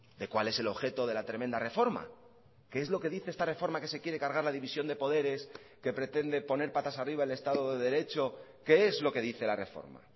de cuál es el objeto de la tremenda reforma qué es lo que dice esta reforma que se quiere cargar la división de poderes que pretende poner patas arriba el estado de derecho qué es lo que dice la reforma